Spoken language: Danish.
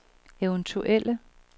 eventuelle